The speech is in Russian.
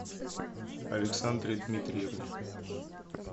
александре дмитриевне